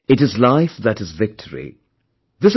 It is life that is victory...